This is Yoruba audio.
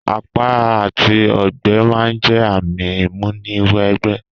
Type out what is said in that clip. Àpá àti ogbẹ́ ma n jẹ ààmì ìmúni wẹ gbẹ́